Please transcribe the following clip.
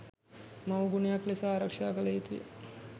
මවුගුණයක් ලෙස ආරක්ෂා කළ යුතුය